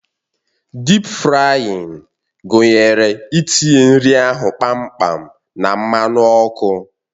Dịp frayịn gụnyere itinye nri ahụ kpamkpam na mmanụ ọkụ